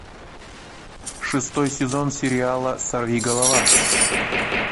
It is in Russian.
шестой сезон сериала сорви голова